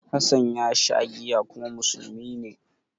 Hassan ya sha giya kuma musulmi ne.